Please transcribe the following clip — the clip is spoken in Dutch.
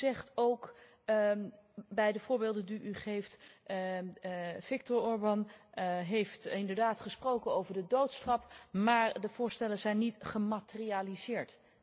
U zegt ook bij de voorbeelden die u geeft Viktor Orban heeft inderdaad gesproken over de doodstraf, maar de voorstellen zijn niet gematerialiseerd.